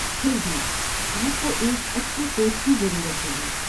پھر بھی آپ کو ایک اچھے کوچ کی ضرورت ہوگی۔